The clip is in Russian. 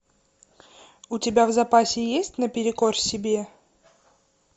у тебя в запасе есть на перекор себе